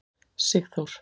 Sigþór